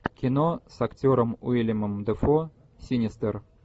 кино с актером уиллемом дефо синистер